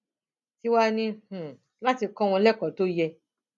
tiwa ní um láti kọ wọn lẹkọọ tó yẹ